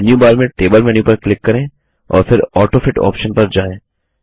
अब मेन्यूबार में table menu पर क्लिक करें और फिर ऑटोफिट ऑप्शन पर जाएँ